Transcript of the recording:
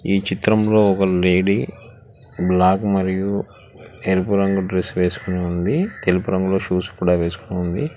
ఈ చిత్రంలో ఒక లేడీ బ్లాక్ మరియు ఎరుపు రంగు డ్రెస్ వేసుకొని ఉంది తెలుపు రంగులో షూస్ కూడా వేసుకొని ఉంది.